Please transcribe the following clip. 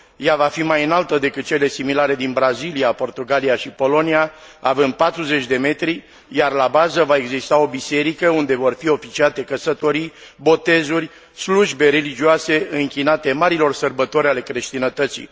Ea va fi mai înaltă decât cele similare din Brazilia, Portugalia și Polonia, având 40 de metri, iar la bază va exista o biserică unde vor fi oficiate căsătorii, botezuri, slujbe religioase închinate marilor sărbători ale creștinătății.